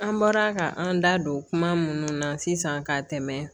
An bɔra ka an da don kuma minnu na sisan ka tɛmɛ